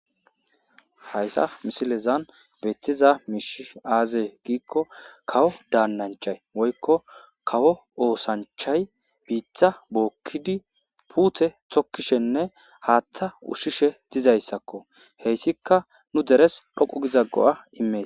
haysa misilezan beettiza miishi aazee giikko kawo daannanchay woykko kawo oosanchay biitha bookkidi puuthe tokkishenne haaththa ushshishe dizayssakko heyssika nu deres dhoqu gizaggo7a imee